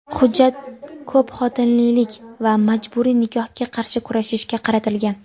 hujjat ko‘pxotinlilik va majburiy nikohga qarshi kurashishga qaratilgan.